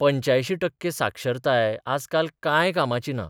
85 टक्के साक्षरताय आजकाल कांय कामाची ना.